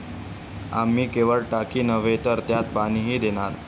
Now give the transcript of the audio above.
आम्ही केवळ टाकी नव्हे तर त्यात पाणीही देणार'